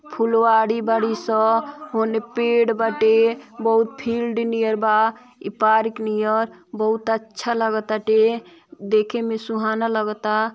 फुलवाड़ी बड़ी स होने पेड़ बाटे बहु फील्ड नियर बा ई पार्क नियर बहुत अच्छा लगताटे देखेमे सुहाना लगता।